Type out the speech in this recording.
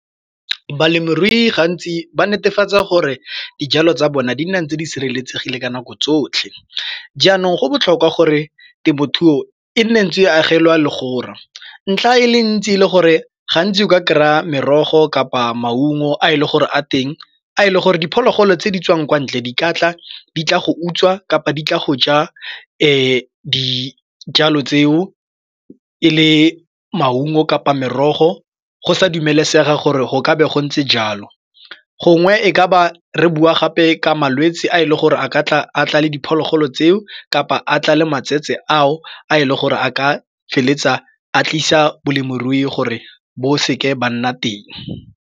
Balemirui gantsi ba netefatsa gore dijalo tsa bona di nna ntse di sireletsegile ka nako tsotlhe. Jaanong go botlhokwa gore temothuo e nne ntse e agelwa legora. Ntlha e le ntsi le gore gantsi o ka kry-a merogo kapa maungo a e le gore a teng a e le gore diphologolo tse di tswang kwa ntle dikotla di tla go utswa kapa di tla go ja dijalo tseo e le maungo kapa merogo go sa dumelesegeng gore go ka be go ntse jalo gongwe e ka ba re bua gape ka malwetsi a e le gore a ka tlale diphologolo tseo kapa a tla le matsetse ao a e leng gore a ka feleletsa a tlisa balemirui gore bo seke ba nna teng.